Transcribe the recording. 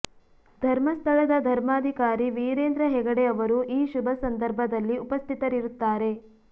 ಧರ್ಮಸ್ಥಳದ ಧರ್ಮಾಧಿಕಾರಿ ವೀರೇಂದ್ರ ಹೆಗಡೆ ಅವರು ಈ ಶುಭ ಸಂದರ್ಭದಲ್ಲಿ ಉಪಸ್ಥಿತರಿರುತ್ತಾರೆ